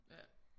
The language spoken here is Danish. Ja